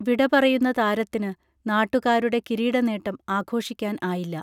വിടപറയുന്ന താരത്തിന് നാട്ടുകാരുടെ കിരീട നേട്ടം ആഘോഷിക്കാൻ ആയില്ല